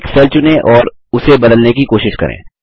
एक सेल चुनें और उसे बदलने की कोशिश करें